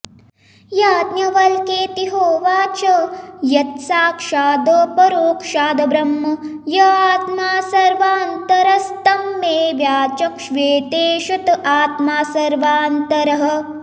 याज्ञवल्क्येति होवाच यत्साक्षादपरोक्षाद्ब्रह्म य आत्मा सर्वान्तरस्तं मे व्याचक्ष्वेत्येष त आत्मा सर्वान्तरः